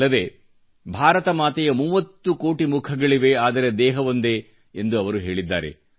ಅಲ್ಲದೆ ಭಾರತ ಮಾತೆಯ 30 ಕೋಟಿ ಮುಖಗಳಿವೆ ಆದರೆ ದೇಹವೊಂದೇ ಎಂದು ಅವರು ಹೇಳಿದ್ದಾರೆ